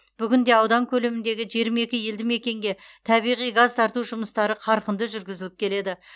бүгінде аудан көлеміндегі жиырма екі елдімекенге табиғи газ тарту жұмыстары қарқынды жүргізіліп келеді